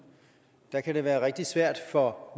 kan kan være rigtig svært for